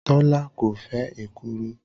Tọ́lá kò fẹ́ èkuru